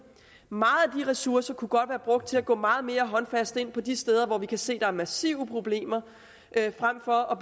mange ressourcer kunne godt være brugt til at gå meget mere håndfast ind på de steder hvor vi kan se at der er massive problemer frem for at